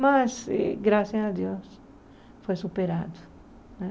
Mas, eh graças a Deus, foi superado né.